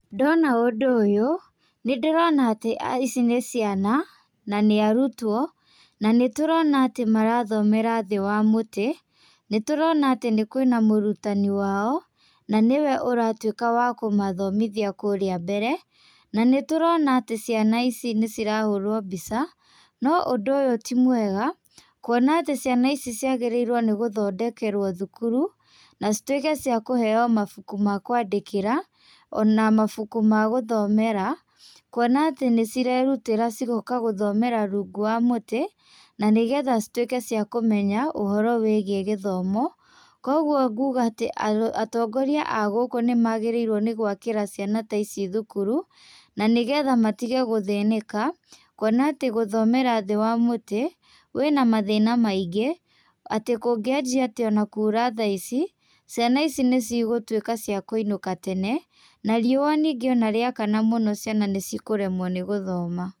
Ndona ũndũ ũyũ, nĩndĩrona atĩ ici nĩ ciana, na nĩ arutwo na nĩ tũrona atĩ marathomera thĩ wa mũtĩ, nĩtũrona atĩ kwĩ na mũrutani wa o, na nĩ we ũratuĩka wa kũmathomithia kũrĩa mbere, na nĩtũrona atĩ ciana ici nĩ cirahũrwo mbica, no ũndũ ũyũ ti mwega, kuona atĩ ciana ici ciagĩrĩirwo nĩ gũthondekerwo thukuru, na citwĩke cia kũheyo mabuku makũandĩkĩra, o na mabuku ma gũthomera, kuona atĩ nĩcirerutĩra cigoka gũthomera rungu wa mũtĩ, na nĩgetha cituĩke cia kũmenya ũhoro wĩgiĩ gĩthomo, kogwo kũga atĩ atongoria agũkũ nĩmagĩrĩirwo nĩgwakĩra ciana ta ici thukuru, na nĩgetha matige gũthĩnĩka, kuona atĩ gũthomera thĩ wa mũtĩ wĩ na mathĩna maĩngĩ, atĩ kũngĩanjĩa atĩ o na kũra thaa ici ciana ici nĩcigũtuĩka cia kũinũka tene, na riũa ningĩ onarĩakana mũno ciana nĩcikũremwo nĩgũthoma.